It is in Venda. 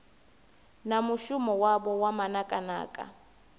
na mushumo wavho wa manakanaka